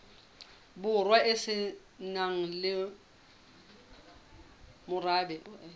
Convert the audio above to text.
borwa e se nang morabe